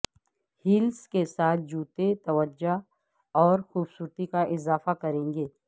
hills کے ساتھ جوتے توجہ اور خوبصورتی کا اضافہ کریں گے